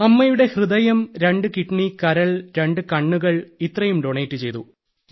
അമ്മയുടെ ഹൃദയം രണ്ട് കിഡ്നി കരൾ രണ്ട് കണ്ണുകൾ ഇത്രയും ഡൊനേറ്റ് ചെയ്തു